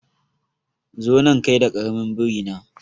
Zo nan kai da karamin biri na